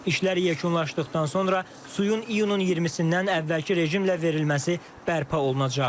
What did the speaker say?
İşlər yekunlaşdıqdan sonra suyun iyunun 20-dən əvvəlki rejimlə verilməsi bərpa olunacaq.